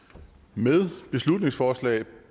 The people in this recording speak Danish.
med beslutningsforslag